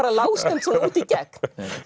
lágstemmd út í gegn